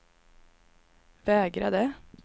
vägrade